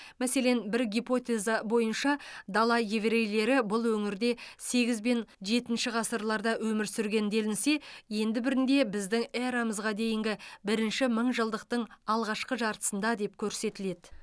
мәселен бір гипотеза бойынша дала еврейлері бұл өңірде сегіз бен жетінші ғасырларда өмір сүрген делінсе енді бірінде біздің эрамызға дейінгі бірінші мыңжылдықтың алғашқы жартысында деп көрсетіледі